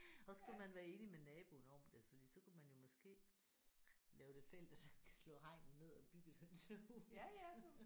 Så skulle man være enig med naboen om det fordi så kunne man jo måske lave det fælles slå hegnet ned og bygge et hønsehus